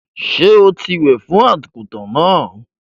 Sọ tí wẹ̀ fún àgùntàn náà?